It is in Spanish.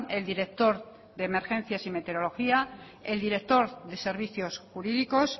el director de emergencias y meteorología el director de servicios jurídicos